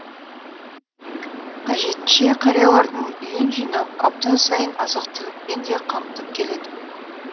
қажетінше қариялардың үйін жинап апта сайын азық түлікпен де қамтып келеді